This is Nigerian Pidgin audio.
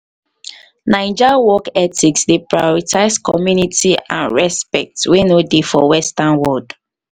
naija work ethics dey prioritize community and respect wey no dey for western world.